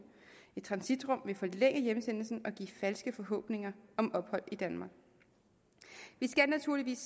et transitrum vil forlænge hjemsendelsen og give falske forhåbninger om ophold i danmark vi skal naturligvis